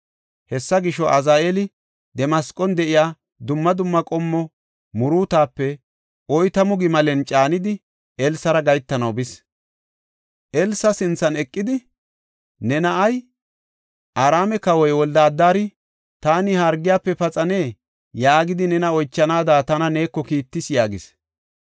Hessa gisho, Azaheeli Damasqon de7iya dumma dumma qommo muruutape oytamu gimalen caanidi, Elsara gahetanaw bis. Elsa sinthan eqidi, “Ne na7ay Araame kawoy Wolde-Adari, ‘Taani ha hargiyafe paxanee?’ yaagidi, nena oychanaada tana neeko kiittis” yaagis.